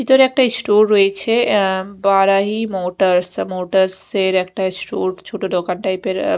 ভিতরে একটা ইস্টোর রয়েছে আঃ বারাহি মোটরস মোটরস -এর একটা স্টোর ছোট দোকান টাইপ -এর আঃ--